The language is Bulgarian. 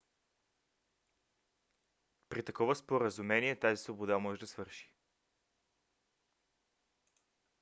при такова споразумение тази свобода може да свърши